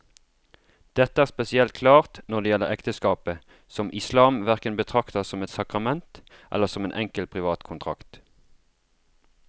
Dette er spesielt klart når det gjelder ekteskapet, som islam hverken betrakter som et sakrament eller som en enkel privat kontrakt.